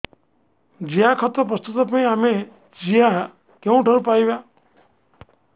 ଜିଆଖତ ପ୍ରସ୍ତୁତ ପାଇଁ ଆମେ ଜିଆ କେଉଁଠାରୁ ପାଈବା